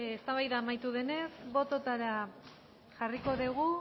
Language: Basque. eztabaida amaitu denez bototara jarriko dugu